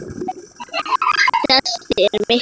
Þessi er miklu betri.